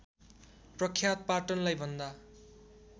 प्रख्यात पाटनलाई भन्दा